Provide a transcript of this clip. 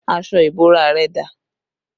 Aṣọ ìbora rẹ dà?